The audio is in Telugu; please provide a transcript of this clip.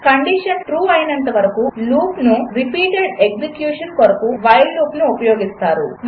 కండిషన్ ట్రూ అయినంత వరకు లూపును రిపీటెడ్ ఎగ్జెక్యూషన్ కొరకు వైల్ లూప్ను ఉపయోగిస్తారు